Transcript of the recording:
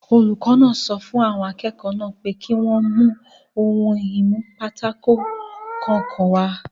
Olùkọ́ náà sọ fún àwọn akẹ́kọ̀ọ́ náà pé kí wọ́n mú ohun-ìnúpátákó kọ̀ọ̀kan wá